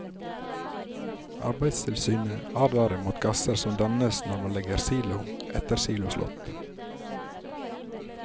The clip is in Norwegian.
Arbeidstilsynet advarer mot gasser som dannes når man legger silo etter siloslått.